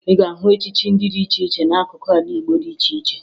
Ị ga-ahụ echichi dị iche iche n'akụkụ ala Igbo dị iche iche